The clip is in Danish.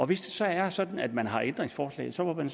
hvis det så er sådan at man har ændringsforslag så må man